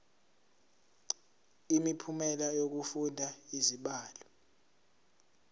imiphumela yokufunda izibalo